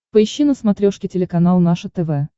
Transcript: поищи на смотрешке телеканал наше тв